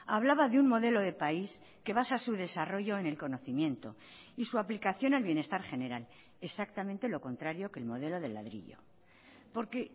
hablaba de un modelo de país que basa su desarrollo en el conocimiento y su aplicación al bienestar general exactamente lo contrario que el modelo del ladrillo porque